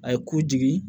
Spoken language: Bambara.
A ye ku jigi